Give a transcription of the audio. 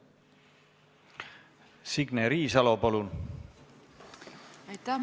Signe Riisalo, palun!